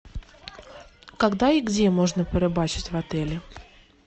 когда и где можно порыбачить в отеле